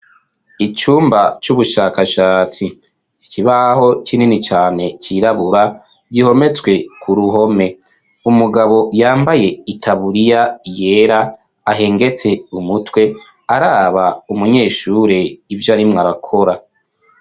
Icumba c'ubushakashatsi, ikibaho kinini cane cirabura gihometswe ku ruhome, umugabo yambaye itaburiya yera ahengetse umutwe araba umunyeshure ivyo arimwo arakora.